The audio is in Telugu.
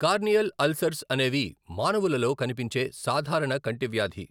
కార్నియల్ అల్సర్స్ అనేవి మానవులలో కనిపించే సాధారణ కంటి వ్యాధి.